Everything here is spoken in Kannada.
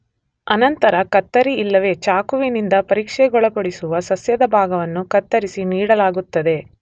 ಅನಂತರ ಕತ್ತರಿ ಇಲ್ಲವೆ ಚಾಕುವಿನಿಂದ ಪರೀಕ್ಷೆಗೊಳಪಡಿಸುವ ಸಸ್ಯದ ಭಾಗವನ್ನು ಕತ್ತರಿಸಿ ನೀಡಲಾಗುತ್ತದೆ